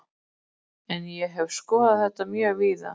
En ég hef skoðað þetta mjög víða.